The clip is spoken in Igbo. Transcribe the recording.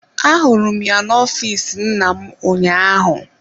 Ahụrụ m ya n'ọfịs nna m ụnyaahụ.